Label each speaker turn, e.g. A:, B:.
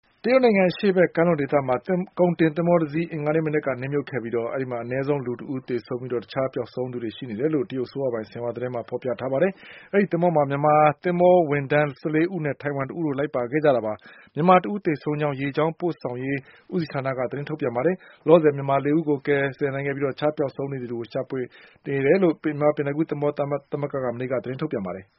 A: တရုတ်နိုင်ငံ အရှေ့ဘက် ကမ်းလွန်ဒေသမှာ ကုန်တင်သင်္ဘောတစီး အင်္ဂါနေ့မနက်က နစ်မြုပ်ခဲ့ပြီး အနည်းဆုံး လူတဦး သေဆုံးပြီး ၉ ဦး ပျောက်ဆုံးနေတယ်လို့ တရုတ် အစိုးရပိုင် ဆင်ဟွာသတင်းမှာ ဖော်ပြထားပါတယ်။ အဲ့ဒီသင်္ဘောမှာ မြန်မာသင်္ဘောဝန်ထမ်း၁၄ဦးနဲ့ထိုင်ဝမ်တဦးတို့လိုက်ပါခဲ့ကြတာပါ။ မြန်မာတဦးသေဆုံးကြောင်း ရေကြောင်းပို့ဆောင်ရေး ဦးစီးဌာနကသတင်းထုတ်ပြန်ပါတယ်။ လောလောဆယ် မြန်မာလေးဦးကို ကယ်ဆယ်နိုင်ခဲ့ပြီး တခြားပျောက်ဆုံးနေသူ တွေကို ရှာဖွေနေတယ်လို့ မြန်မာပင်လယ်ကူးသင်္ဘေားသားများသမဂ္ဂက မနေ့က သတင်းထုတ်ပြန်ပါတ
B: ယ်။